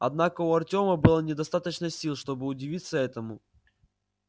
однако у артёма было недостаточно сил чтобы удивиться этому